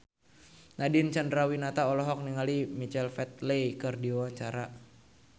Nadine Chandrawinata olohok ningali Michael Flatley keur diwawancara